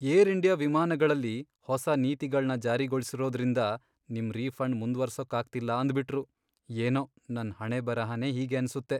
Air India ವಿಮಾನಗಳಲ್ಲಿ ಹೊಸ ನೀತಿಗಳ್ನ ಜಾರಿಗೊಳ್ಸಿರೋದ್ರಿಂದ ನಿಮ್ ರೀಫಂಡ್ ಮುಂದ್ವರ್ಸೋಕಾಗ್ತಿಲ್ಲ ಅಂದ್ಬಿಟ್ರು, ಏನೋ ನನ್ ಹಣೆಬರಹನೇ ಹೀಗೆ ಅನ್ಸತ್ತೆ.